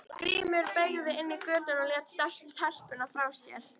Grímur beygði inn í götuna og lét telpuna frá sér.